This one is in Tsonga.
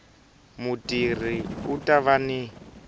mutirhi u ta va ni